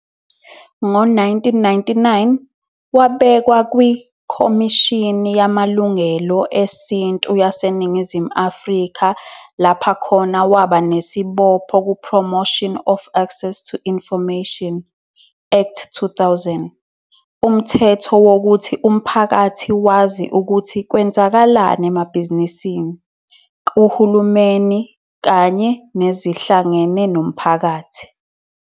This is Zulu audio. Ngo-1999 wabekwa kwIkhomishini Yamalungelo Esintu YaseNingizimu Afrika lapha khona waba nesibopho ku-Promotion of Access to Information Act, 2000, umthetho wokuthi umphakathi wazi ukuthi kwenzakalani emabhizinisini, kuHulumeni kanye nezihlangene nomphakathi.